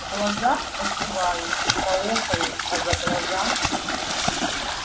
в глаза покивают поохают а за глаза